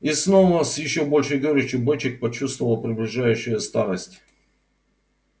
и снова с ещё большей горечью бочек почувствовал приближающую старость